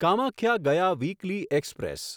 કામાખ્યા ગયા weekly express